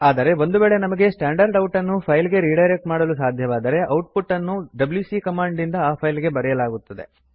ಆದರೆ ಒಂದು ವೇಳೆ ನಮಗೆ ಸ್ಟ್ಯಾಂಡರ್ಡ್ ಔಟ್ ನ್ನು ಫೈಲ್ ಗೆ ರಿಡೈರೆಕ್ಟ್ ಮಾಡಲು ಸಾಧ್ಯವಾದರೆ ಔಟ್ ಪುಟ್ ಅನ್ನು ಡಬ್ಯೂಸಿ ಕಮಾಂಡ್ ನಿಂದ ಆ ಫೈಲ್ ಗೆ ಬರೆಯಲಾಗುತ್ತದೆ